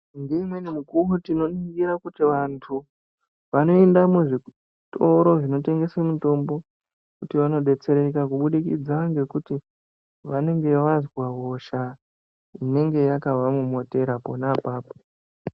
Ngeimweni mikuwo tinoningire kuti vantu vanoenda muzvitoro zvinotengeswe mitombo kuti vanodetsereka kubudikidza ngekuti vanenge vazwa hosha yakavamomotera pona apapo.